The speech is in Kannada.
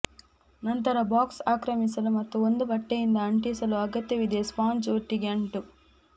ನಂತರ ಬಾಕ್ಸ್ ಆಕ್ರಮಿಸಲು ಮತ್ತು ಒಂದು ಬಟ್ಟೆಯಿಂದ ಅಂಟಿಸಲು ಅಗತ್ಯವಿದೆ ಸ್ಪಾಂಜ್ ಒಟ್ಟಿಗೆ ಅಂಟು